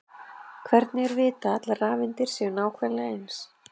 hvernig er vitað að allar rafeindir séu nákvæmlega eins